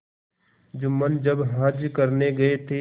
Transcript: जुम्मन जब हज करने गये थे